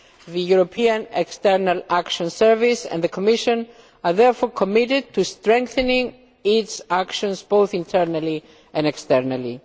The European External Action Service and the Commission are therefore committed to strengthening its actions both internally and externally.